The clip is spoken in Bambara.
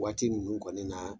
Waati ninnu kɔni na